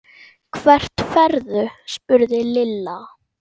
Hvert ferðu? spurði Lilla.